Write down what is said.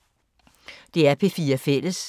DR P4 Fælles